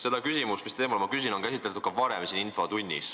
Seda teemat, mille kohta ma küsin, on siin infotunnis käsitletud ka varem.